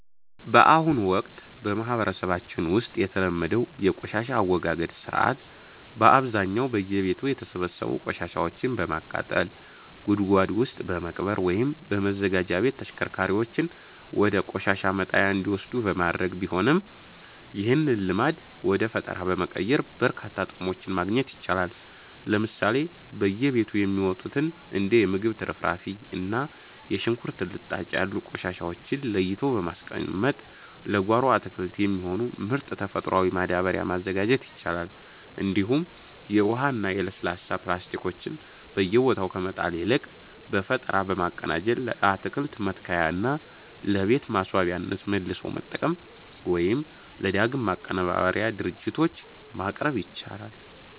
በአሁኑ ወቅት በማህበረሰባችን ውስጥ የተለመደው የቆሻሻ አወጋገድ ሥርዓት በአብዛኛው በየቤቱ የተሰበሰቡ ቆሻሻዎችን በማቃጠል፣ ጉድጓድ ውስጥ በመቅበር ወይም በማዘጋጃ ቤት ተሽከርካሪዎች ወደ ቆሻሻ መጣያ እንዲወሰዱ በማድረግ ቢሆንም፣ ይህንን ልማድ ወደ ፈጠራ በመቀየር በርካታ ጥቅሞችን ማግኘት ይቻላል። ለምሳሌ በየቤቱ የሚወጡትን እንደ የምግብ ትርፍራፊ እና የሽንኩርት ልጣጭ ያሉ ቆሻሻዎችን ለይቶ በማስቀመጥ ለጓሮ አትክልት የሚሆን ምርጥ ተፈጥሯዊ ማዳበሪያ ማዘጋጀት ይቻላል፤ እንዲሁም የውሃና የለስላሳ ፕላስቲኮችን በየቦታው ከመጣል ይልቅ በፈጠራ በማቀናጀት ለአትክልት መትከያነትና ለቤት ማስዋቢያነት መልሶ መጠቀም ወይም ለዳግም ማቀነባበሪያ ድርጅቶች ማቅረብ ይቻላል።